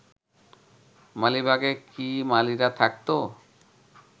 মালিবাগে কি মালীরা থাকত?